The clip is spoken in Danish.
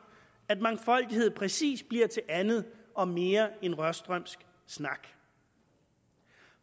at mangfoldighed præcis bliver til andet og mere end rørstrømsk snak